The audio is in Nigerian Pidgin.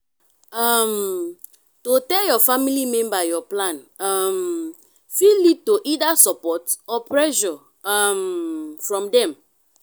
um to tell your family member your plan um fit lead to either support or pressure um from dem